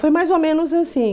Foi mais ou menos assim.